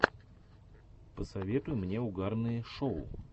посоветуй мне угарные шоу